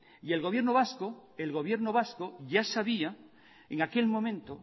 y el gobierno vasco ya sabía en aquel momento